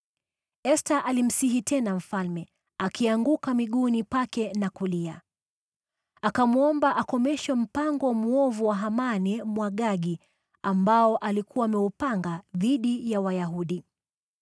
Esta alimsihi tena mfalme, akianguka miguuni pake na kulia. Akamwomba akomeshe mpango mwovu wa Hamani Mwagagi ambao alikuwa ameupanga dhidi ya Wayahudi.